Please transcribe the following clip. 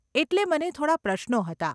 એટલે મને થોડાં પ્રશ્નો હતા.